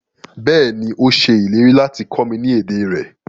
Bẹ́ẹ̀ni, o ṣẹ ilẹ̀rí lati kọ mi ni èdè rẹ